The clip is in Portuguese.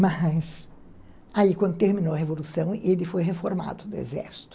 Mas, aí, quando terminou a Revolução, ele foi reformado do Exército.